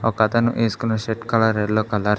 ఒకతను వేసుకున్న shirt colour yellow colour .